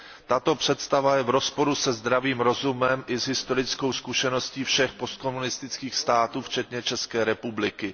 Tato představa je v rozporu se zdravým rozumem i s historickou zkušeností všech postkomunistických států včetně České republiky.